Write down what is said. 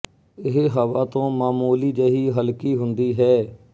ਇਹ ਹਵਾ ਤੋਂ ਮਾਮੂਲੀ ਜਿਹੀ ਹਲਕੀ ਹੁੰਦੀ ਹੈ